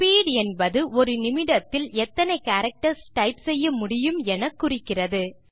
speed என்பது ஒரு நிமிடத்தில் எத்தனை கேரக்டர்ஸ் டைப் செய்ய முடியும் என குறிக்கிறது